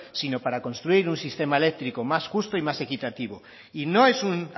sino para construir un sistema eléctrico más justo y más equitativo y no es un